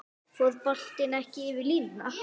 Fór boltinn ekki yfir línuna?